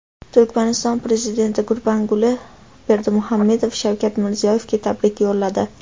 Turkmaniston prezidenti Gurbanguli Berdimuhammedov Shavkat Mirziyoyevga tabrik yo‘lladi.